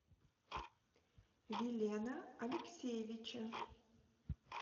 вилена алексеевича